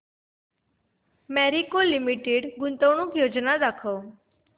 Marico limited गुंतवणूक योजना दाखव